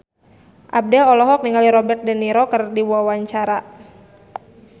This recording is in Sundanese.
Abdel olohok ningali Robert de Niro keur diwawancara